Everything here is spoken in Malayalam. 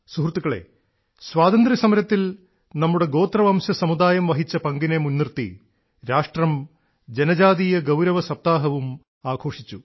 സുഹൃത്തുക്കളേ സ്വാതന്ത്ര്യസമരത്തിൽ നമ്മുടെ ഗോത്രവംശ സമുദായം വഹിച്ച പങ്കിനെ മുൻനിർത്തി രാഷ്ട്രം ജനജാതീയ ഗൌരവ സപ്താഹവും ആഘോഷിച്ചു